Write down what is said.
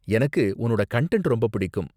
எனக்கு உன்னோட கன்டன்ட் ரொம்ப பிடிக்கும்.